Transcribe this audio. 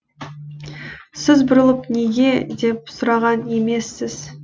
сіз бұрылып неге деп сұраған емессіз